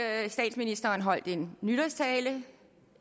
at statsministeren holdt en nytårstale